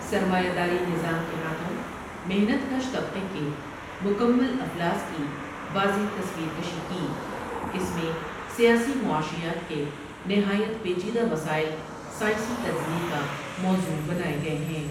سرمایہ داری نظام ٘کے ہاتھوں محنت کش طبقے کے مکمل افلاس کی واضع تصویر کشی کی اس میں سیا سی معاشیات کے نہایت پیچیدہ مسائل سائنسی تجزیے کاموضوع بنائے گئے ہیں ۔